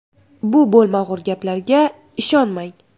Bu bo‘lmag‘ur gaplarga ishonmang.